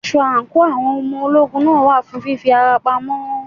Aṣọ àǹkóò àwọn ọmọ ogun náà wà fún fí fi ara pamọ́.